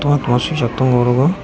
oro toma sijak tongo oro o.